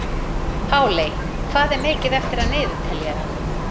Páley, hvað er mikið eftir af niðurteljaranum?